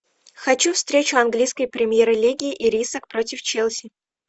хочу встречу английской премьер лиги ирисок против челси